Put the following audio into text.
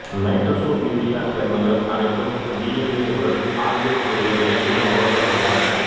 nitrosourea சேர்மங்கள் அனைத்தும் T N ஏ உடன் ஆல்கைல் குழுவை இணைக்கும் முகவர்கள் ஆகும்